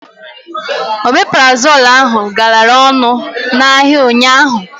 Omeprazol ahụ galara ọnụ n'ahịa ụnyaahụ.